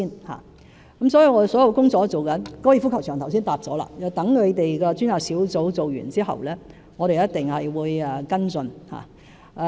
我剛才已回答了有關高爾夫球場的問題，待專責小組完成工作後，我們一定會跟進。